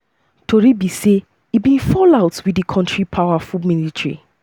tori tori be say im bin fall out wit di kontri powerful military.